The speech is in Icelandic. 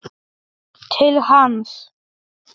Til hans.